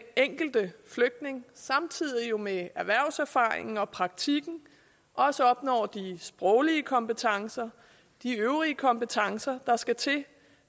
enkelte flygtning samtidig med erhvervserfaringen og praktikken også opnår de sproglige kompetencer og de øvrige kompetencer der skal til